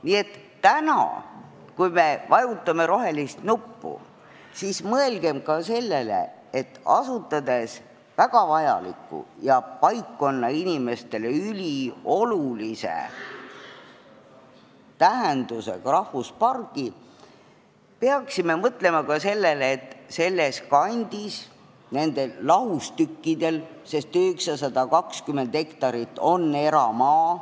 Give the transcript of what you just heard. Nii et täna, kui me vajutame rohelist nuppu, mõelgem ka sellele, et asutades väga vajaliku ja paikkonna inimestele üliolulise tähendusega rahvuspargi, peaksime mõtlema ka sellele, et seal kandis, nendel lahustükkidel on 920 hektarit eramaa.